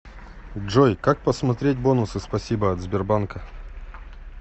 джой как посмотреть бонусы спасибо от сбербанка